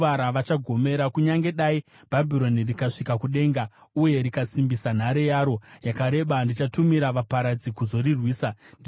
Kunyange dai Bhabhironi rikasvika kudenga, uye rikasimbisa nhare yaro yakareba, ndichatumira vaparadzi kuzorirwisa,” ndizvo zvinotaura Jehovha.